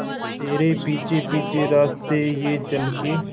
तेरे पीछे पीछे रास्ते ये चल के